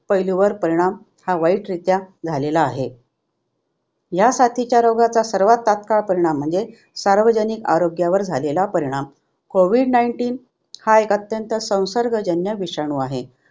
पैलूवर परिणाम हा वाईट रित्या झालेला आहे. ह्या साथीच्या रोगाचा सर्वात तात्काळ परिणाम म्हणजे सार्वजनिक आरोग्यावर झालेला परिणाम. कोविड nineteen हा एक अत्यंत संसर्गजन्य विषाणू आहे.